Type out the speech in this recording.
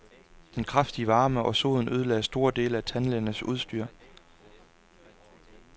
Den kraftige varme og soden ødelagde store dele af tandlægernes udstyr.